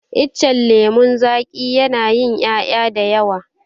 Itacen lemon zaki yana yin ƴaƴa dayawa